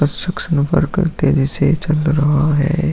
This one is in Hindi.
जैसे ये चल रहा है।